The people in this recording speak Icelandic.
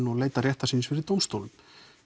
og leita réttar síns fyrir dómstólum